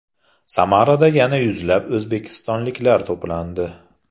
Samarada yana yuzlab o‘zbekistonliklar to‘plandi.